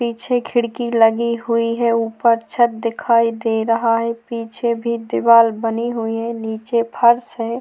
पीछे खिड़की लगी हुई है उपर छत दिखाई दे रहा है पीछे भी दीवार बनी हुई है नीचे फर्श है।